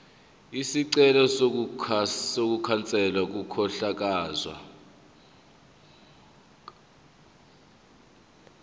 isicelo sokukhanselwa kokuhlakazwa